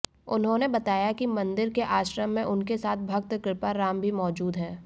उन्होने बताया कि मंदिर के आश्रम में उनके साथ भक्त कृपाराम जी मौजूद है